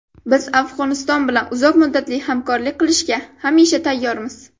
Biz Afg‘oniston bilan uzoq muddatli hamkorlik qilishga hamisha tayyormiz.